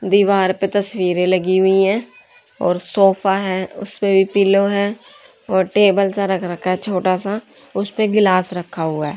दीवार पे तस्वीरे लगी हुई हैं और सोफा है उसपे भी पीलो है और टेबल सा रख रखा है छोटा सा उस पे गिलास रखा हुआ--